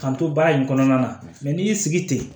K'an to baara in kɔnɔna na n'i y'i sigi ten